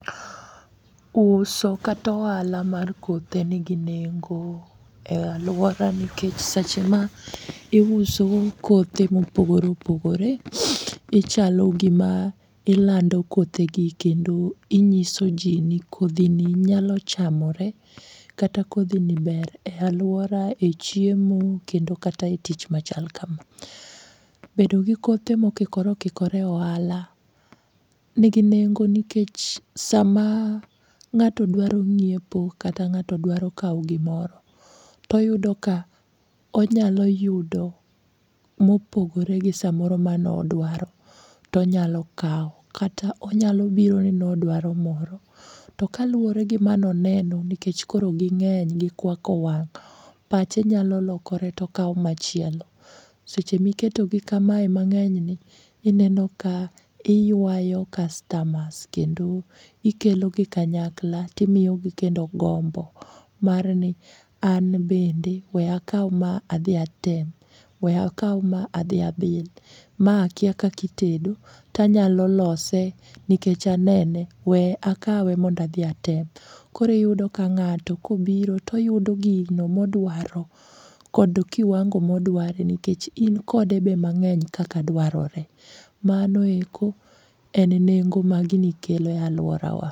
Uso katohala mar kothe nigi nengo e alwora nikech seche ma iuso kothe mopogore opogore, ichalo gima ilando kothegi kendo inyiso ji ni kodhini nyalo chamore kata kodhini ber e alwora e chiemo kendo kata e tich machal kama. Bedo gi kothe mokikore okikore e ohala nigi nengo nikech sama ng'ato dwaro ng'iepo kata ng'ato dwaro kawo gimoro toyudo ka onyalo yudo mopogore gi samoro manodwaro tonyalo kawo kata onyalo biro ni nodwaro moro to kaluwore gi manoneno nikech koro ging'eny gikwako wang'e pache nyalo lokore tokawo machielo seche miketogi kamae mang'enyni ineno ka iywayo kastamas kendo ikelogi kanyakla timiyogi kendo gombo marni an bende we akaw ma adhi atem, we akaw ma adhi abil, ma akia kaka itedo tanyalo lose nikech anene, we akawe mondo adhi atem. Koro iyudo ka ng'ato kobiro toyudo gino modwaro kod kiwango modware nikech inkode be mang'eny kaka dwarore. Manoeko en nengo magini kelo e alworawa.